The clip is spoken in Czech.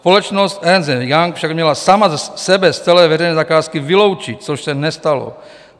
Společnost Ernst & Young však měla sama sebe z celé veřejné zakázky vyloučit, což se nestalo.